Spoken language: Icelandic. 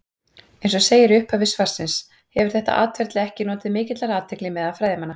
Eins og segir í upphafi svarsins hefur þetta atferli ekki notið mikillar athygli meðal fræðimanna.